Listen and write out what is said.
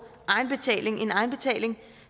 egenbetaling